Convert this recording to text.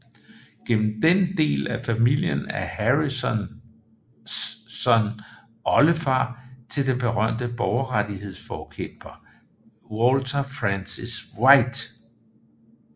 Gennem denne del af familien er Harrison oldefar til den berømte borgerrettighedsforkæmper Walter Francis White